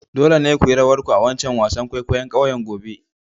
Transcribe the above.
Dole ne ku yi rawar ku a'wancan wasan kwaikwayo'n kauyen gobe!